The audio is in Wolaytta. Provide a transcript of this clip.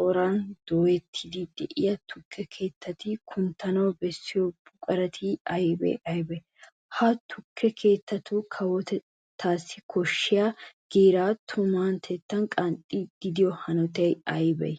corasan dooyettiiddi de'iya tukke keettati kunttana bessiyo buqurati aybee aybee? Ha tukke keettati kawotettaassi koshshiya giiraa tumatettan qanxxiyo hanotay ay malee?